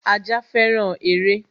Ajá féràn eré